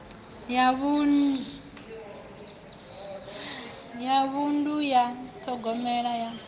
ya vhunḓu ya ṱhogomelo ya